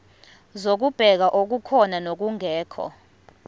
zokubheka okukhona nokungekho